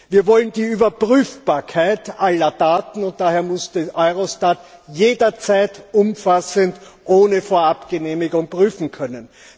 Wir wollen die Überprüfbarkeit aller Taten, daher muss Eurostat jederzeit umfassend ohne Vorabgenehmigung prüfen können.